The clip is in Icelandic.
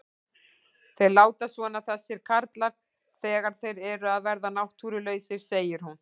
Þeir láta svona þessir karlar þegar þeir eru að verða náttúrulausir, segir hún.